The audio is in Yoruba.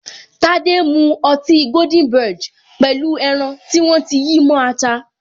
Tade mu ọtí goldenberg pẹ̀lú pẹlu ẹran tí wọ́n ti yí mó ata